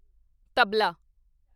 tabla